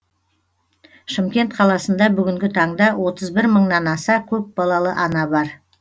шымкент қаласында бүгінгі таңда отыз бір мыңнан аса көпбалалы ана бар